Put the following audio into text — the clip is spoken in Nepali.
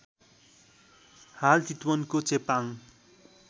हाल चितवनको चेपाङ